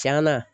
Tiɲɛna